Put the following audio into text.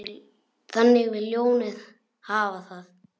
Þannig vill ljónið hafa það.